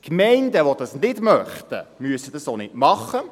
Die Gemeinden, die dies nicht möchten, müssen dies auch nicht tun.